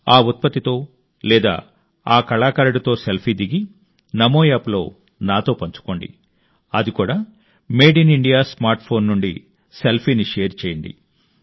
ఆ ఉత్పత్తితో లేదా ఆ కళాకారుడితో సెల్ఫీ దిగి నమో యాప్ లో నాతో పంచుకోండి అది కూడా made in India smartphone నుండి సెల్ఫీని షేర్ చేయండి